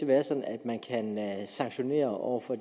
være sådan at sanktionere over for